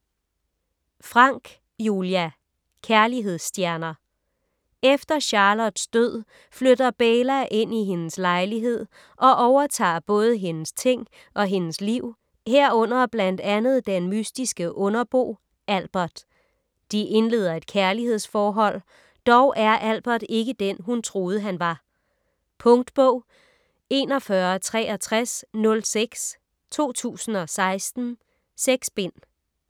Franck, Julia: Kærlighedstjener Efter Charlottes død flytter Beyla ind i hendes lejlighed og overtager både hendes ting og hendes liv, herunder blandt andet den mystiske underbo Albert. De indleder et kærlighedsforhold. Dog er Albert ikke den, hun troede han var. Punktbog 416306 2016. 6 bind.